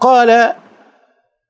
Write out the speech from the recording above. коля